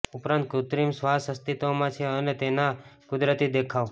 ઉપરાંત કૃત્રિમ શ્વાસ અસ્તિત્વમાં છે અને તેના કુદરતી દેખાવ